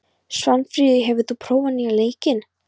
Svanfríður, hefur þú prófað nýja leikinn?